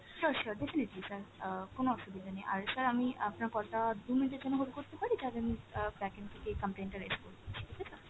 sure sure, definitely sir অ্যাঁ কোন অসুবিধা নেই, আর sir আমি আপনার call টা দু minuet এর জন্য hold করতে পারি তাহলে আমি অ্যাঁ backend থেকে complain টা raise করেদিচ্ছি ঠিক আছে।